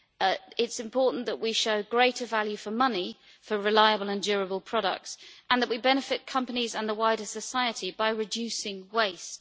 It is important that we pursue greater value for money for reliable and durable products and that we benefit companies and the wider society by reducing waste.